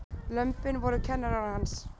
Lömbin voru kennarar hans.